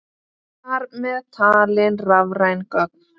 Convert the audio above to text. Þar með talið rafræn gögn.